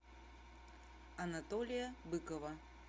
анатолия быкова